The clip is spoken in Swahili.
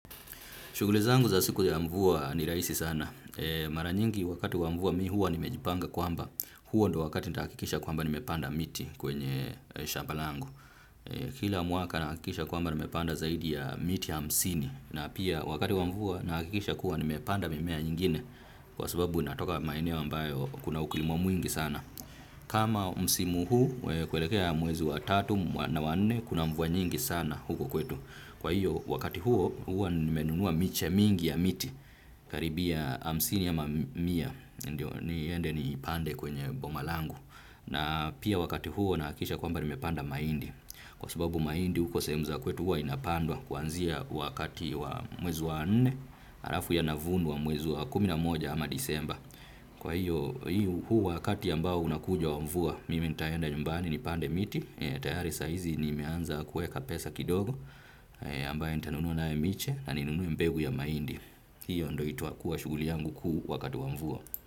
Shughuli zangu za siku ya mvua ni rahisi sana. Mara nyingi wakati wa mvua mi huwa ni mejipanga kwamba huo ndo wakati nita akikisha kwamba ni mepanda miti kwenye shamba langu. Kila mwaka nakikisha kwamba nimepanda zaidi ya miti ya hamsini na pia wakati wa mvua nahakikisha kuwa ni mepanda mimea nyingine kwa sababu natoka maeneo mbayo kuna ukulima mwingi sana. Kama msimu huu kuelekea mwezi wa tatu na nne kuna mvwa nyingi sana huku kwetu. Kwa hiyo wakati huo hua nimenunua miche mingi ya miti karibia hamsini ama mia. Ndiyo niende ni pande kwenye boma langu. Na pia wakati huo nahakikisha kwamba nimepanda mahindi. Kwa sababu mahindi huko sehemu za kwetu hua inapandwa kuanzia wakati wa mwezi wa nne. Halafu yanavunwa wa mwezi wa kumi na moja ama disemba. Kwa hiyo, huu wakati ambao unakuja wa mvua, mime nitaenda nyumbani nipande miti. Tayari saizi ni meanza kueka pesa kidogo ambayo nitanunuwa nayo miche na ninunuwe mbegu ya mahindi. Hiyo ndo itakuwa shughuli yangu kuu wakatu wa mvua.